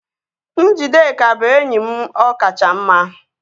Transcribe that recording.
Njideka bụ enyi m ọkacha mma